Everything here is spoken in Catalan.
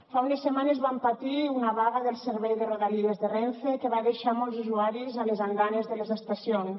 fa unes setmanes vam patir una vaga del servei de rodalies de renfe que va deixar molts usuaris a les andanes de les estacions